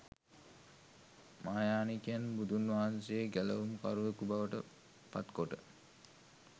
මහායානිකයන් බුදුන්වහන්සේ ගැලවුම් කරුවෙකු බවට පත් කොට